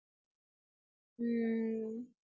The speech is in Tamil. ஹம்